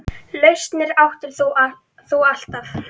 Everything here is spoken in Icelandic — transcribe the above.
Lausnir áttir þú alltaf.